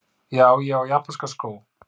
Já, ég á japanska skó,!